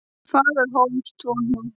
Fagurhólstúni